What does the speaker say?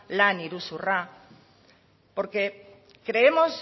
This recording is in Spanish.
lan iruzurra porque creemos